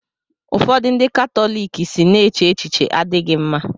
ụfọdụ ndị Katọlik si na eche echiche adịghị mma